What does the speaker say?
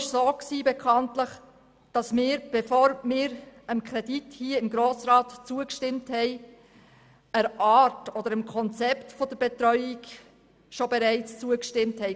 Bekanntlich war es so, dass wir dem Konzept der UMABetreuung hier im Grossen Rat bereits zugestimmt hatten, bevor wir den Kredit genehmigten.